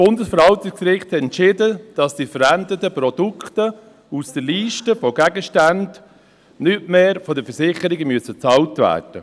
Im Herbst 2017 entschied das Bundesverwaltungsgericht, die verwendeten Produkte aus der Mittel- und Gegenständeliste (MiGeL) müssten nicht mehr von den Versicherungen bezahlt werden.